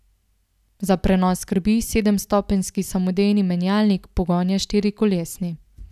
Za prenos skrbi sedemstopenjski samodejni menjalnik, pogon je štirikolesni.